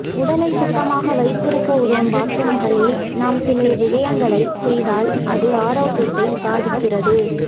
உடலை சுத்தமாக வைத்திருக்க உதவும் பாத்ரூம்களில் நாம் சில விடயங்களை செய்தால் அது ஆரோக்கியத்தை பாதிக்கிறது